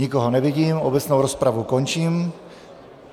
Nikoho nevidím, obecnou rozpravu končím.